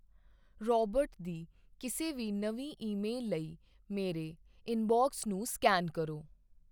Robert ਦੀ ਕਿਸੇ ਵੀ ਨਵੀਂ ਈਮੇਲ ਲਈ ਮੇਰੇ ਇਨਬਾਕਸ ਨੂੰ ਸਕੈਨ ਕਰੋ।